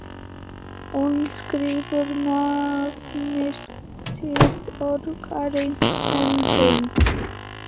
Hún skrifar nafnið sitt öruggri hendi.